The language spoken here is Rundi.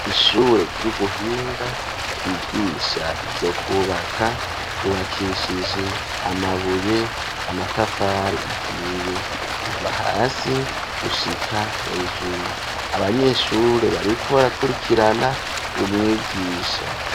Ishure ry'ubuhinga ryigisha ivyo kubaka yubakishije amabuye, amatafari ahiye kuva hasi gushika hejuru. Abanyeshure bariko barakurikirana umwigisha.